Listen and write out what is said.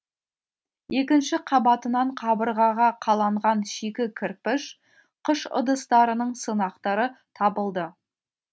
екінші қабатынан қабырғаға қаланған шикі кірпіш қыш ыдыстарының сынықтары табылды